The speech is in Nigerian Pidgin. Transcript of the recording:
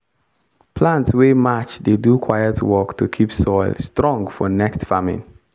plant wey match dey do quiet work to keep soil strong for next farming.